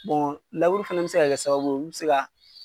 Bon lauru fɛnɛ bɛ se ka kɛ sababu ye olu bɛ se ka.